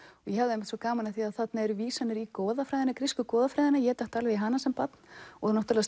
ég hafði svo gaman af því að þarna eru vísanir í goðafræðina grísku goðafræðina ég datt alveg í hana sem barn og náttúrulega